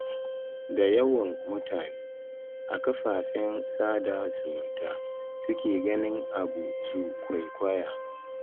Da yawan mutane a kafafen sada zumunta suke ganin abu su kwaikwaya.